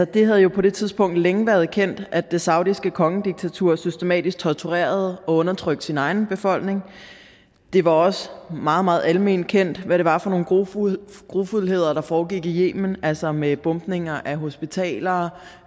det havde jo på det tidspunkt længe været kendt at det saudiske kongediktatur systematisk torturerede og undertrykte sin egen befolkning det var også meget meget alment kendt hvad det var for nogle grufuldheder grufuldheder der foregik i yemen altså med bombninger af hospitaler